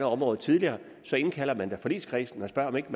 området tidligere så indkalder man da forligskredsen og spørger om ikke